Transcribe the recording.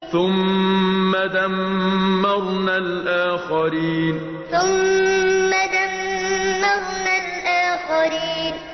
ثُمَّ دَمَّرْنَا الْآخَرِينَ ثُمَّ دَمَّرْنَا الْآخَرِينَ